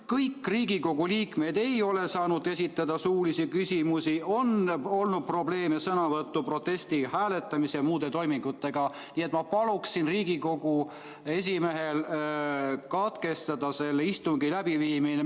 Kõik Riigikogu liikmed ei ole saanud esitada suulisi küsimusi, on olnud probleeme sõnavõtu, protesti, hääletamise ja muude toimingutega, nii et ma paluksin Riigikogu esimehel katkestada selle istungi läbiviimine.